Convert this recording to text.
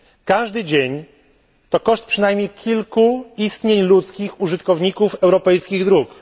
Każdy dzień to koszt przynajmniej kilku istnień ludzkich użytkowników europejskich dróg.